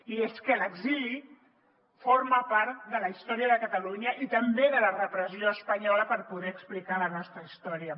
i és que l’exili forma part de la història de catalunya i també de la repressió espanyola per poder explicar la nostra història